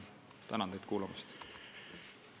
Tänan teid kuulamast!